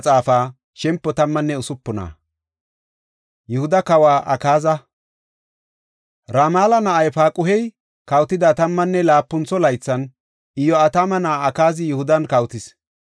Ramala na7ay Paaquhey kawotida tammanne laapuntho laythan, Iyo7atama na7ay Akaazi Yihudan kawotis.